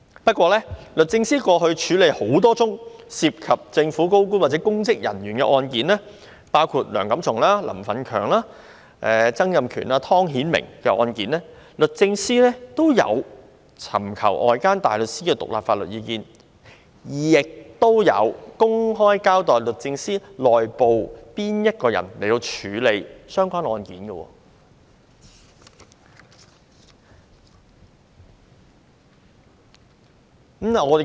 不過，律政司過去處理多宗涉及政府高官或公職人員的案件，包括梁錦松、林奮強、曾蔭權、湯顯明的案件，均有尋求外間大律師的獨立法律意見，亦有公開交代律政司內部誰人負責處理相關案件。